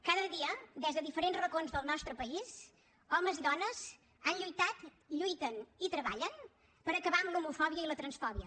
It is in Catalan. cada dia des de diferents racons del nostre país homes i dones han lluitat lluiten i treballen per acabar amb l’homofòbia i la transfòbia